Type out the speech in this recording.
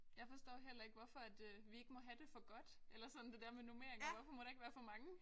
Jeg forstår heller ikke hvorfor at øh vi ikke må have det for godt eller sådan det der med normeringer hvorfor må der ikke være for mange